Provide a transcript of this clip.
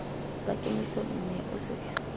la kemiso mme o seke